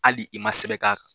Hali i ma sɛbɛn k'a